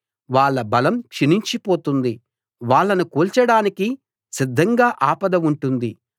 వాళ్ళ బలం క్షీణించిపోతుంది వాళ్ళను కూల్చడానికి సిద్ధంగా ఆపద ఉంటుంది